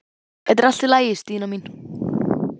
Þetta er allt í lagi, Stína mín.